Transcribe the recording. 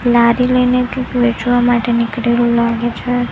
લારી લઈને કઈક વેચવા માટે નીકળેલો લાગે છે.